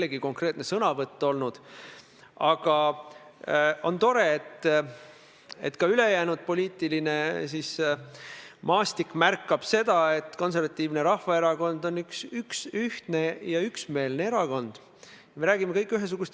Eks ikka oma sõnadele kindlaks jääda ja need ka välja öelda – eeskätt siin, auväärses Riigikogu saalis, aga loomulikult ka teistel nõupidamistel, kui see teema seatakse kahtluse alla.